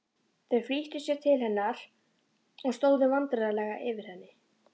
Þau flýttu sér til hennar og stóðu vandræðaleg yfir henni.